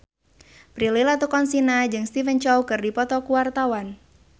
Prilly Latuconsina jeung Stephen Chow keur dipoto ku wartawan